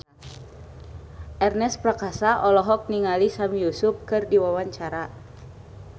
Ernest Prakasa olohok ningali Sami Yusuf keur diwawancara